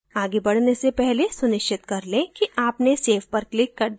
आगे बढने से पहले सुनिश्चित कर लें कि आपने save पर click कर दिया है